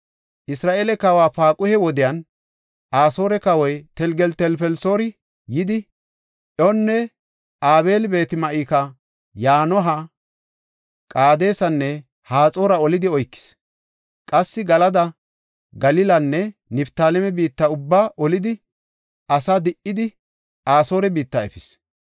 Isra7eele kawa Paaquhe wodiyan Asoore Kawoy Telgeltelfelisoori yidi, Iyoona, Abeel-Beet-Ma7ika, Yanoha, Qaadesanne Haxoora olidi oykis; qassi Galada, Galilanne Niftaaleme biitta ubbaa olidi, asaa di77idi Asoore biitta efis.